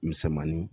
Misɛnmanin